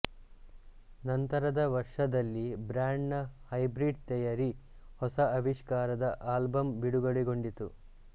ನಂತರದ ವರ್ಷದಲ್ಲಿ ಬ್ಯಾಂಡ್ ನ ಹೈಬ್ರೀಡ್ ಥೆಯರಿ ಹೊಸ ಆವಿಷ್ಕಾರದ ಅಲ್ಬಮ್ ಬಿಡುಗಡೆಗೊಂಡಿತು